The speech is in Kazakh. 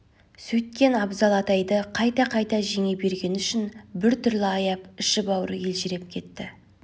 сөйткен абзал атайды қайта-қайта жеңе бергені үшін бір түрлі аяп іші-бауыры елжіреп кетті